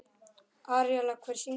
Aríela, hver syngur þetta lag?